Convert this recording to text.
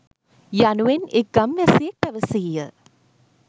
යනුවෙන් එක් ගම්වැසියෙක් පැවසීය.